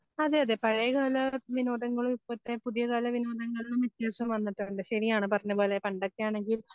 അതെ അതെ പഴയകാല വിനോദങ്ങളും ഇപ്പത്തെ പുതിയകാല വിനോദങ്ങളിലും വ്യത്യാസം വന്നിട്ടുണ്ട് ശരിയാണ് പറഞ്ഞപോലെ പണ്ടൊക്കെയാണെങ്കിൽ